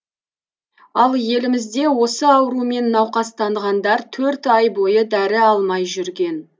ал елімізде осы аурумен науқастанғандар төрт ай бойы дәрі алмай жүрген